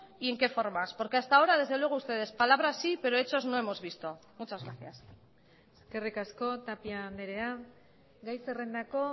y en qué formas porque hasta ahora desde luego ustedes palabrassí pero hechos no hemos visto muchas gracias eskerrik asko tapia andrea gai zerrendako